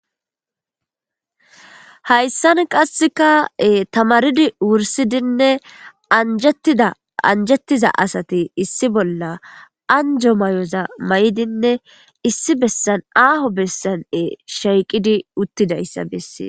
Hayssan qasseka tamaridi wursidinne anjetida anjettiza asati issi bolla anjo mayoza mayidinne issi bessan aaho bessane shiqqidi uttida issa bessees.